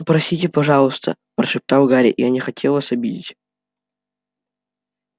простите пожалуйста прошептал гарри я не хотел вас обидеть